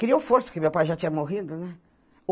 Criou força, porque meu pai já tinha morrido, né?